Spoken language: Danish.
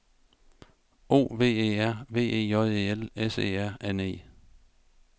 O V E R V E J E L S E R N E